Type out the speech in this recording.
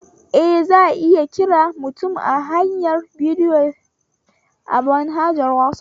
Eh, za'a iya kiran mutum ta hanyar bidiyo a manhaja ta wasaf